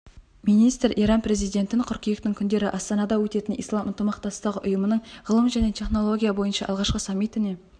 министр иран президентін қыркүйектің күндері астанада өтетін ислам ынтымақтастығы ұйымының ғылым және технология бойынша алғашқы саммитіне